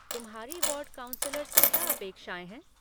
तुम्हारी ward councillor से क्या अपेक्षाएँ हैं?